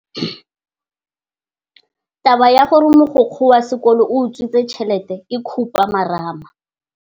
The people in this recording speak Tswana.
Taba ya gore mogokgo wa sekolo o utswitse tšhelete ke khupamarama.